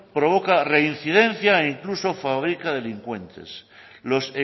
provoca reincidencia e incluso fabrica delincuentes los